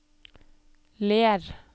Ler